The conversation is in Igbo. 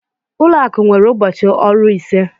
Ụlọ akụ nwere ụbọchị ọrụ ise.